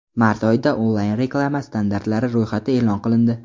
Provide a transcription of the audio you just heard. Mart oyida onlayn-reklama standartlari ro‘yxati e’lon qilindi.